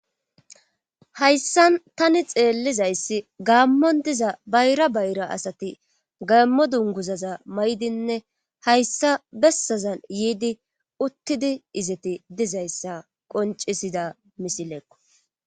hayssan tani xeellizayssi gaammon diza bayra bayra asati gaammo dunguzaza may7dinne hayssa bessazan yiidi uttidi izeti dizayssa qoncisida misileeko